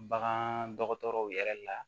Bagan dɔgɔtɔrɔw yɛrɛ la